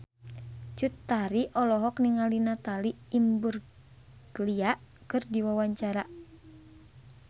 Cut Tari olohok ningali Natalie Imbruglia keur diwawancara